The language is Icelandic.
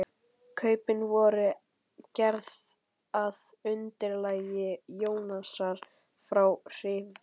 Kaupin voru gerð að undirlagi Jónasar frá Hriflu.